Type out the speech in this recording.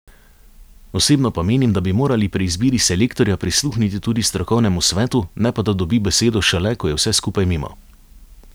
Osebno pa menim, da bi morali pri izbiri selektorja prisluhniti tudi strokovnemu svetu, ne pa da dobi besedo šele, ko je vse skupaj mimo.